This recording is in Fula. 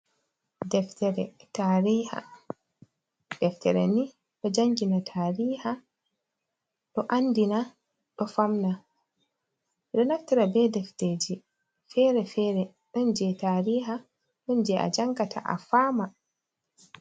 Deftere taariha, deftere ni ɗo jangina taariha, ɗo andina, ɗo famna. Ɓe ɗo naftare be defteji fere-fere. Ɗon jei taariha, ɗon jei a jangata a faama.